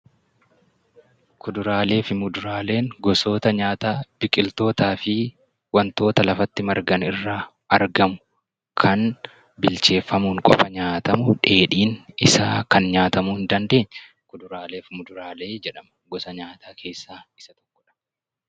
Kuduraalee fi muduraaleen gosoota nyaataa biqiltootaa fi wantoota lafa tti margan irraa argamu kan bilcheeffamuun qofa nyaatamu, dheedhiin isaa kan nyaatamuu hin dandeenye 'Kuduraalee fi muduraalee' jedhama. Gosa nyaataw keessaa isa tokko dha.